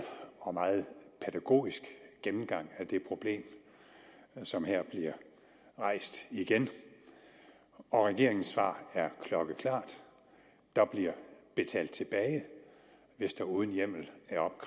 og meget pædagogisk gennemgang af det problem som her bliver rejst igen og regeringens svar er klokkeklart der bliver betalt tilbage hvis der uden hjemmel